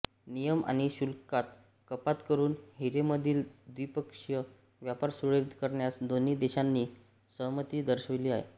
नियम आणि शुल्कात कपात करून हिरेमधील द्विपक्षीय व्यापार सुरळीत करण्यास दोन्ही देशांनी सहमती दर्शविली आहे